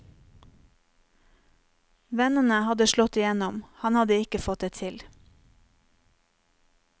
Vennene hadde slått igjennom, han hadde ikke fått det til.